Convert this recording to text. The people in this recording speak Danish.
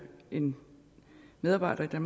en medarbejder i